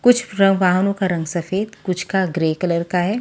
कुछ रंग सफेद कुछ का ग्रे कलर का है।